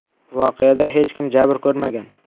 Voqeada hech kim jabr ko‘rmagan.